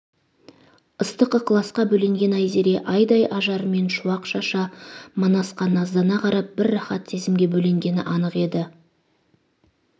ыстық ықыласқа бөленген айзере айдай ажарымен шуақ шаша манасқа наздана қарап бір рахат сезімге бөленгені анық еді